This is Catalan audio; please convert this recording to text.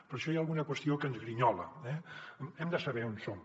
per això hi ha alguna qüestió que ens grinyola eh hem de saber on som